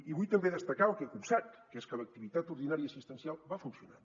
i vull també destacar el que he copsat que és que l’activitat ordinària assistencial va funcionar